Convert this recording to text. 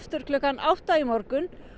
klukkan átta í morgun